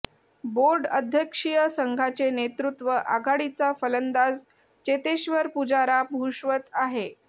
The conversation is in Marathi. बोर्ड अध्यक्षीय संघाचे नेतृत्व आघाडीचा फलंदाज चेतेश्वर पुजारा भूषवत आहे